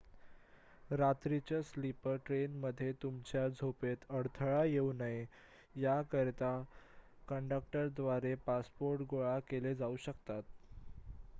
रात्रीच्या स्लीपर ट्रेन्समध्ये तुमच्या झोपेत अडथळा येऊ नये याकरिता कंडक्टरद्वारे पासपोर्ट गोळा केले जाऊ शकतात